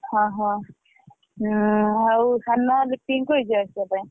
ଓହୋ! ଆଉ ସାନୁଆ ଲିପିଙ୍କି କହିଛୁ ଆସିବା ପାଇଁ।